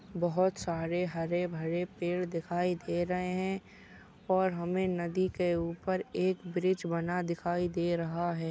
बहुत सारे हरे भरे पेड दिखाई दे रहे है और हमे नदी के ऊपर एक ब्रिज बना दिखाई दे रहा है।